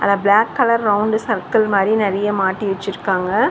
அங்க black colour round சர்கள் மாரி நெறைய மாட்டி வெச்சிருக்காங்க.